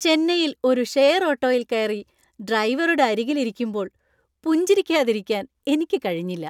ചെന്നൈയിൽ ഒരു ഷെയർ ഓട്ടോയിൽ കയറി ഡ്രൈവറുടെ അരികിൽ ഇരിക്കുമ്പോൾ പുഞ്ചിരിക്കാതിരിക്കാൻ എനിക്ക് കഴിഞ്ഞില്ല.